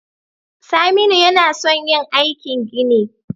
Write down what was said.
Saminu yAna son yin aikin gini